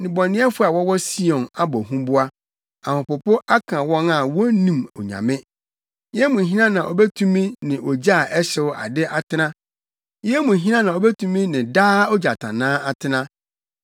Nnebɔneyɛfo a wɔwɔ Sion abɔ huboa; ahopopo aka wɔn a wonnim Onyame: “Yɛn mu hena na obetumi ne ogya a ɛhyew ade atena? Yɛn mu hena na obetumi ne daa ogyatannaa atena?”